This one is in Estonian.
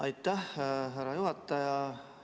Aitäh, härra juhataja!